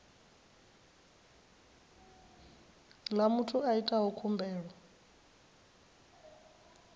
ḽa muthu a itaho khumbelo